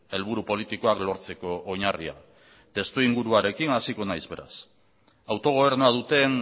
helburu politikoak lortzeko oinarria testuinguruarekin hasiko naiz beraz autogobernua duten